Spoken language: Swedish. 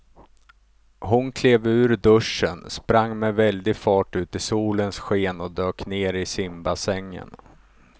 Hon klev ur duschen, sprang med väldig fart ut i solens sken och dök ner i simbassängen.